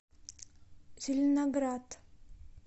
зеленоград